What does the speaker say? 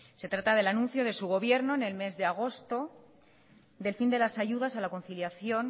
se trata del anuncio de su gobierno en el mes de agosto del fin de las ayudas a la conciliación